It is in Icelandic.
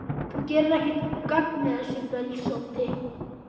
Þú gerir ekkert gagn með þessu bölsóti,